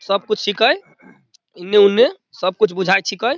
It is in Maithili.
सब कुछ छीकय इने उने सब कुछ बुझाय छिकय |